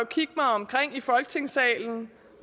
kigge mig omkring i folketingssalen